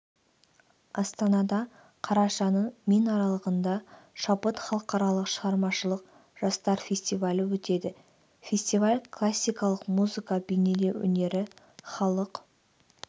астанада қарашаның мен аралығында шабыт халықаралық шығармашылық жастар фестивалі өтеді фестиваль классикалық музыка бейнелеу өнері халық